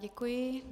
Děkuji.